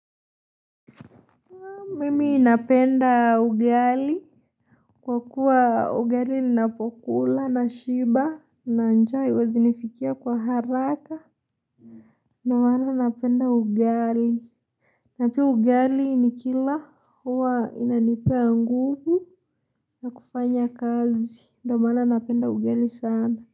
Mimi napenda ugali, kwa kuwa ugali ninapokula nashiba na njaa haiwezi nifikia kwa haraka. Ndio maana napenda ugali. Na pia ugali nikila huwa inanipea nguvu ya kufanya kazi. Na wana napenda ugali sana.